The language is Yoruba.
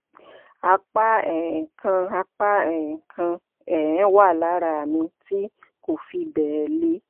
àpá um kan àpá um kan um wà lára mi tí kò fi bẹ́ẹ̀ le